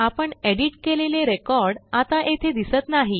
आपण एडिट केलेले रेकॉर्ड आता येथे दिसत नाही